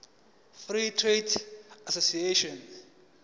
free trade association